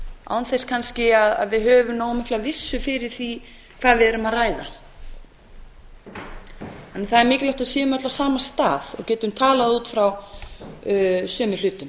án þess kannski að við höfum nógu miklu vissu fyrir því hvað við erum að ræða en það er mikilvægt að við séum öll á sama stað og getum talað út frá sömu hlutum